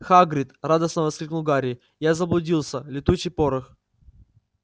хагрид радостно воскликнул гарри я заблудился летучий порох